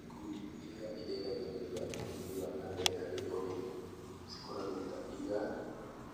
Ikundi iria iteithagĩrĩria ũthii wa nambere harĩ ũrĩmi, cikoragwo ta IGAD,